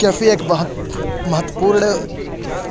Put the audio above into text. cafe एक महत्वपूर्ण